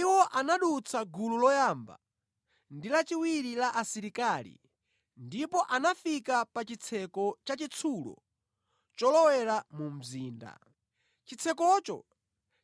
Iwo anadutsa gulu loyamba ndi lachiwiri la asilikali ndipo anafika pa chitseko chachitsulo cholowera mu mzinda. Chitsekocho